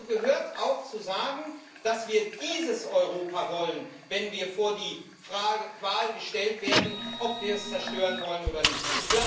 Deshalb gehört auch dazu, zu sagen, dass wir dieses Europa wollen, wenn wir vor die Wahl gestellt werden, ob wir es zerstören wollen oder nicht.